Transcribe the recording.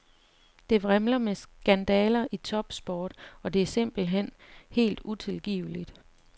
Det vrimler med skandaler i topsport, og det er simpelt hen helt utilgiveligt.